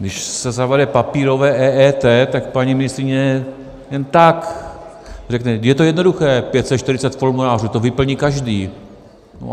Když se zavede papírové EET, tak paní ministryně jen tak řekne - je to jednoduché, 540 formulářů, to vyplní každý.